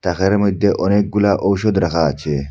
তাকের মইধ্যে অনেকগুলা ঔষধ রাখা আছে।